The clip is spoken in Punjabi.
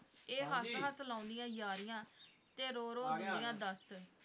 ਇਹ ਹੱਸ-ਹੱਸ ਲਾਉਂਂਦੀਆਂ ਯਾਰੀਆਂ, ਤੇੇ ਰੋ-ਰੋ ਦਿੰਦੀਆਂ ਦੱਸ।